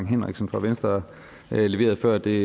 henriksen fra venstre leverede før det